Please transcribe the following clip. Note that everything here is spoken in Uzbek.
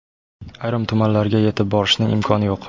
Ayrim tumanlarga yetib borishning imkoni yo‘q.